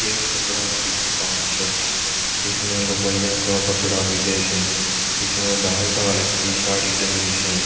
यह कपडा की दुकान स इसमें लुगाईया का कपडा मिले स इसमें डाल डाल की साड़ी टंगरी स।